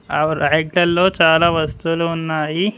ఆ వరకుల్లో చాలా వస్తువులు ఉన్నాయి.